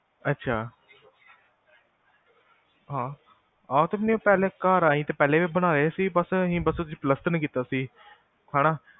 ਅੱਛਾ, ਹਾਂ ਪਹਿਲਾਂ ਘਰ ਆਈ ਪਹਿਲਾਂ ਵੀ ਬਣਾਏ ਸੀ ਬਸ ਅਸੀਂ ਬਸ ਪਲਾਸਤਰ ਨੀ ਕੀਤਾ ਸੀ, ਹੈਨਾ